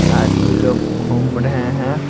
आदमी लोग घूम रहे हैं।